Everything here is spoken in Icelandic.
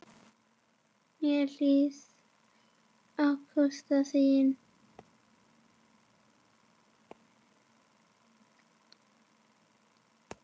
Mér leið akkúrat þannig.